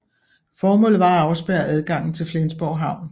Formålet var at afspærre adgangen til Flensborg havn